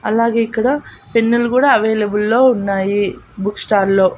అలాగే ఇక్కడ పెన్నులు గుడా అవైలబుల్ లో ఉన్నాయి బుక్ స్టాల్లో .